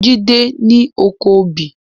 Jide ni ókó óbì